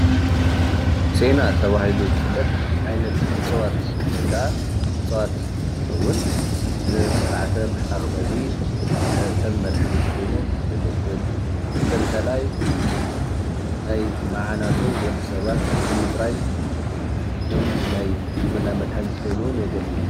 ሴና ተባሂሉ ዝፍለጥ ዓይነት እፅዋት ወይ ከዓ እፅዋት እንትከውን ንስርዓተ ምሕቃቅ ምግቢ ከም መድሓኒት ኮይኑ የገልግል፡፡ መበል ካልኣይ ናይ ማዓናጡ ወዲ ሰባት ንምፅራይ ከም ናይ ሕክምና መድሓኒት ኮይኑ የገልግል እዩ፡፡